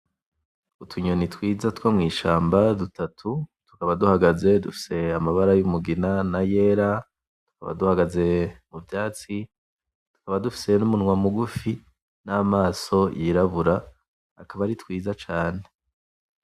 Utunyoni twiza twomwishamba dutatu, tukaba duhagaze dufise amabara yumugina nayera, tukaba duhagaze muvyatsi. Tukaba dufise numunwa mugufi, namaso yirabura, akaba ari twiza cane.